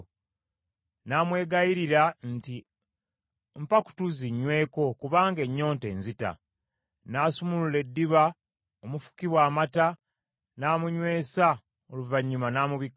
Namwegayirira nti, “Mpa ku tuzzi nnyweko kubanga ennyonta enzita.” N’asumulula eddiba omufukibwa amata n’amunywesa oluvannyuma n’amubikkako.